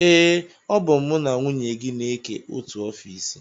Ee, ọ bụ mụ na nwunye gị na-eke otu ofiisi